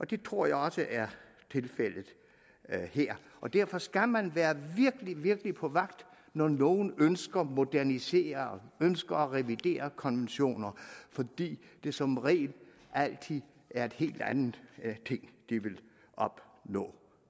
det tror jeg også er tilfældet her og derfor skal man være virkelig på vagt når nogle ønsker at modernisere ønsker at revidere konventioner fordi det som regel altid er en helt anden ting de vil opnå